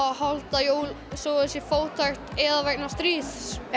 að halda jól þótt þau séu fátæk eða vegna stríðs